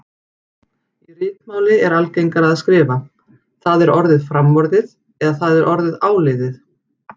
Í ritmáli er algengara að skrifa: það er orðið framorðið eða það er orðið áliðið